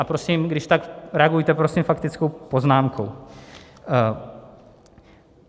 A prosím, když tak reagujte prosím faktickou poznámkou.